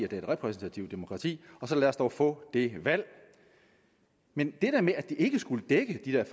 det er et repræsentativt demokrati og så lad os dog få det valg men det her med at det ikke skulle dække de der